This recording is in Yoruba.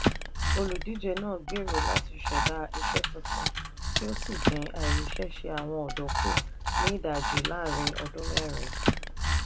olùdíje náà gbèrò láti ṣẹ̀dá iṣẹ́ tuntun kí ó sì dín àìríṣẹ́ṣe àwọn ọ̀dọ́ kù ní ìdajì láàárín ọdún mẹ́rin.